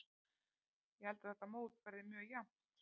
Ég held að þetta mót verði mjög jafnt.